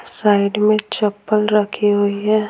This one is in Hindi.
साइड में चप्पल रखी हुई है।